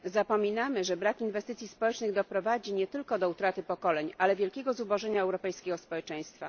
Zapominamy, że brak inwestycji społecznych doprowadzi nie tylko do utraty pokoleń, ale wielkiego zubożenia europejskiego społeczeństwa.